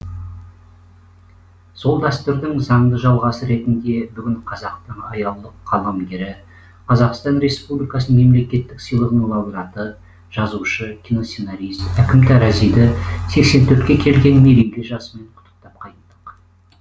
сол дәстүрдің заңды жалғасы ретінде бүгін қазақтың аяулы қаламгері қазақстан республикасының мемлекеттік сыйлығының лауреаты жазушы киносценарист әкім таразиді сексен төртке келген мерейлі жасымен құттықтап қайттық